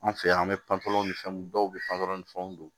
An fɛ yan an bɛ pan pɔlɔlɔ ni fɛnw dɔw bɛ panpolɔ ni fɛnw don